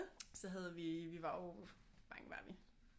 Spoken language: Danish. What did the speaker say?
Så havde vi vi var jo hvor mange var vi